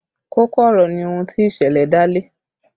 Kókó ọ̀rọ̀ ni ohun tí ìṣẹ̀lẹ̀ dá lé